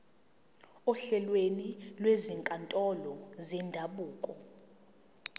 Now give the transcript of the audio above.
ohlelweni lwezinkantolo zendabuko